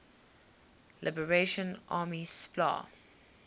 liberation army spla